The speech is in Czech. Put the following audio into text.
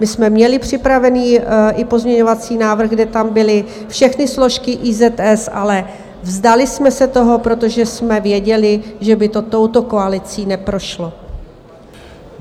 My jsme měli připravený i pozměňovací návrh, kde tam byly všechny složky IZS, ale vzdali jsme se toho, protože jsme věděli, že by to touto koalicí neprošlo.